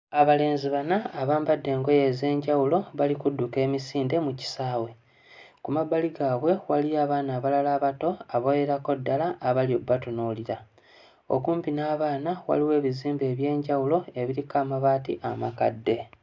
Abalenzi bana abambadde engoye ez'enjawulo bali kudduka emisinde mu kisaawe. Ku mabbali gaabwe waliyo abaana abalala abato abawerako ddala abali obbatunuulira. Okumpi n'abaana waliwo ebizimbe eby'enjawulo ebiriko amabaati amakadde.